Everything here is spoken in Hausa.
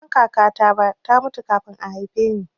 Ban san kakata ba, ta mutu kafin a haife ni